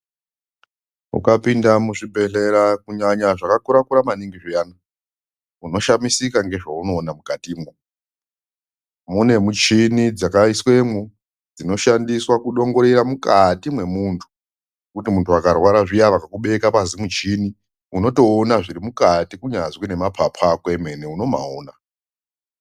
Uka pinda mu zvibhedhlera ku nyanya zvaka kura kura maningi zviyana uno shamisika nge zvauno ona mukati mwo mune muchini dzaka iswemo dzino shandiswa ku dongorera mukati me muntu kuti muntu akarwara zviya vaka kubeka pazi muchini unoto ona zviri mukati kunyazwi ne mapupu ako emene uno mawona.